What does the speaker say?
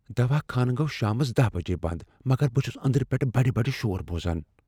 دواہ خانہٕ گو٘و شامس دہَ بجے بند، مگر بہٕ چُھس اندرٕ پیٹھہٕ بڈِ بڈِ شور بوزان۔